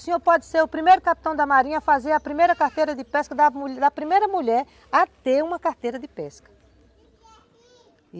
O senhor pode ser o primeiro capitão da marinha a fazer a primeira carteira de pesca da primeira mulher a ter uma carteira de pesca.